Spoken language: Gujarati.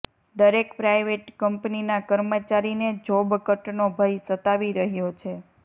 દરેક પ્રાઇવેટ કંપનીના કર્મચારીને જોબ કટનો ભય સતાવી રહ્યો છે